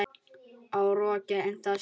Á rokkið ennþá séns?